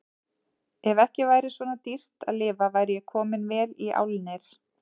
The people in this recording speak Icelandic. Ef ekki væri svona dýrt að lifa væri ég kominn vel í álnir.